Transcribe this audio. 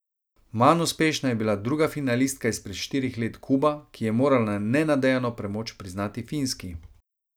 Manj uspešna je bila druga finalistka izpred štirih let Kuba, ki je morala nenadejano premoč priznati Finski.